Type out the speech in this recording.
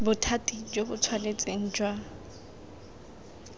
bothati jo bo tshwanetseng jwa